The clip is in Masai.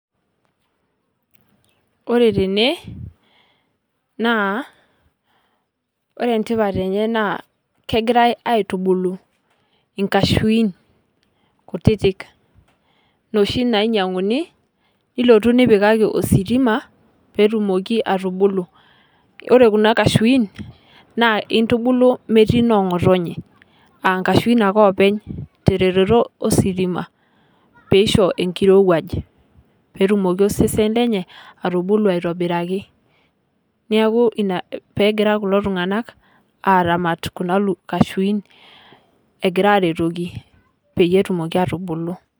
Ore tene naa ore entipat enyee naa kegirae aitubulu inkashuin kutiti inoshi nainyianguni nilotu nipikaki ositima pee etumoki aitubulu ore Kuna kashuin naa intubulu metii noo ngotonye aa inkashuin ake oopeny teretoto ositima pee isho enkirowuaj pee etumoki osesen lenye aitubulu aitoboraki neeku ina pee egira kulo tunganak aramat Kuna kashuin egira aretoki pee etumoki aa tubulu .